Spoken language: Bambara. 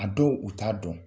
A dɔw, u t'a dɔn.